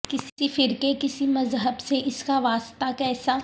کسی فرقے کسی مذہب سے اس کا وا سطہ کیسا